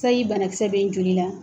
Sayi banakisɛ bɛ n joli la